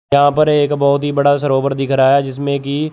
यहां पर एक बहुत ही बड़ा सरोवर दिख रहा है जिसमें की--